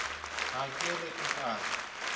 ha ke re o a